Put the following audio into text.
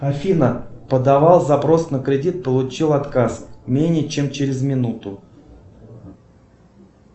афина подавал запрос на кредит получил отказ менее чем через минуту